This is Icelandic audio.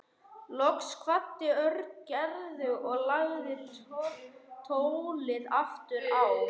Loks kvaddi Örn Gerði og lagði tólið aftur á.